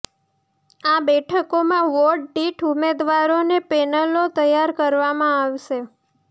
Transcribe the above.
આ બેઠકોમાં વોર્ડ દીઠ ઉમેદવારોની પેનલો તૈયાર કરવામાં આવશે